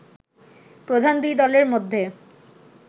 প্রধান দুই দলের মধ্যে